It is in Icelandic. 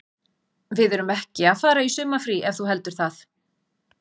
Við erum ekki að fara í sumarfrí ef þú heldur það.